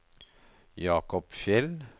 Jacob Fjeld